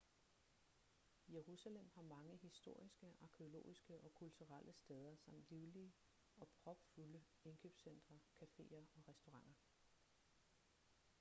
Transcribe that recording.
jerusalem har mange historiske arkæologiske og kulturelle steder samt livlige og propfulde indkøbscentre caféer og restauranter